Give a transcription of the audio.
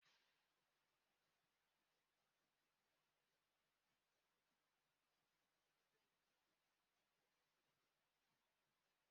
Mkparịta ụka roro aro n'etiti di na nwunye bụ isi ihe na-eme ka mmekọrịta kporo akpo dite aka.